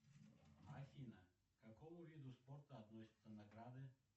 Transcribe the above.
афина к какому виду спорта относятся награды